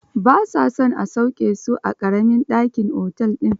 Ba sa son a sauke su a ƙaramin dakin otel din